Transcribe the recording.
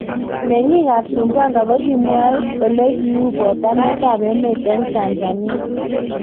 Meng'iik ap Sumbwanga kokimwoe olekiuu potanet ap emeet eng Tanzania